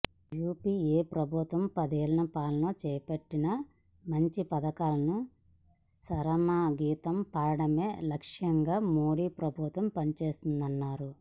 UPA ప్రభుత్వ పదేళ్ల పాలనలో చేపట్టిన మంచి పథకాలను చరమగీతం పాడడమే లక్ష్యంగా మోదీ ప్రభుత్వం పనిచేస్తోందన్నారు